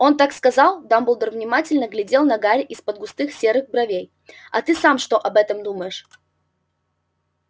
он так сказал дамблдор внимательно глядел на гарри из-под густых седых бровей а ты сам что об этом думаешь